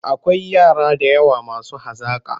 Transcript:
Akwai yara da yawa masu hazaƙa.